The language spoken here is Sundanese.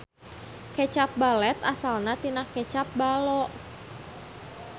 Kecap balet asalna tina kecap ballo.